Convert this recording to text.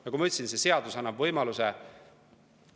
Nagu ma ütlesin, see seadus annab võimaluse.